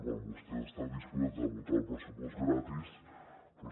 quan vostès estan disposats a votar el pressupost gratis doncs